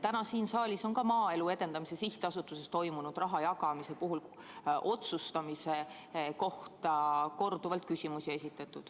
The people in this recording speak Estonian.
Täna on siin saalis korduvalt esitatud küsimusi Maaelu Edendamise Sihtasutuses toimunud rahajagamise otsustamise kohta.